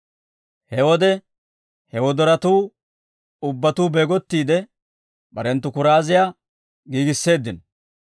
«He wode he wodoratuu ubbatuu beegottiide, barenttu kuraaziyaa giigisseeddino.